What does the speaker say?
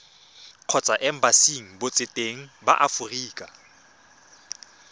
kgotsa embasing botseteng ba aforika